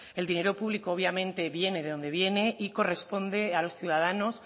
el dinero público obviamente viene de donde viene y corresponde a los ciudadanos